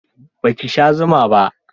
Ba ki sha zuma ba?